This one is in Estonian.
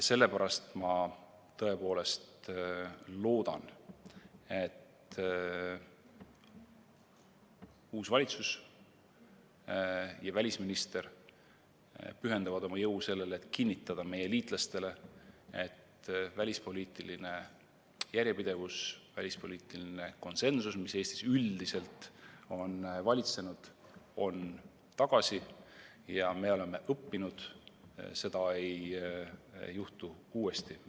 Sellepärast ma tõepoolest loodan, et uus valitsus ja välisminister pühendavad oma jõu sellele, et kinnitada meie liitlastele, et välispoliitiline järjepidevus, välispoliitiline konsensus, mis Eestis üldiselt on valitsenud, on tagasi ja me oleme õppinud, seda ei juhtu uuesti.